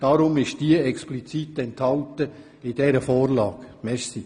Deshalb ist diese explizit in der Vorlage enthalten.